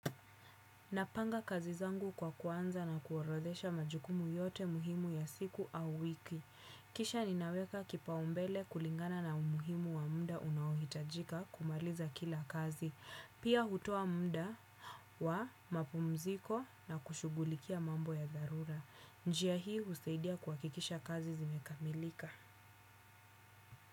Napanga kazi zangu kwa kuanza na kuorodhesha majukumu yote muhimu ya siku au wiki. Kisha ninaweka kipaumbele kulingana na umuhimu wa muda unaohitajika kumaliza kila kazi. Pia hutoa muda wa mapumziko na kushugulikia mambo ya zarura. Njia hii husaidia kuhakikisha kazi zimekamilika.